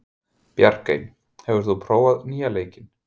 Bjarkey, hefur þú prófað nýja leikinn?